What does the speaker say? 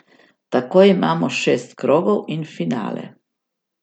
Tako imamo šest krogov in finale.